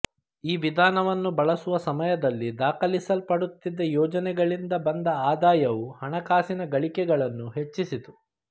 ಈ ವಿಧಾನವನ್ನು ಬಳಸುವ ಸಮಯದಲ್ಲಿ ದಾಖಲಿಸಲ್ಪಡುತ್ತಿದ್ದ ಯೋಜನೆಗಳಿಂದ ಬಂದ ಆದಾಯವು ಹಣಕಾಸಿನ ಗಳಿಕೆಗಳನ್ನು ಹೆಚ್ಚಿಸಿತು